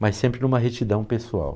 Mas sempre em uma retidão pessoal.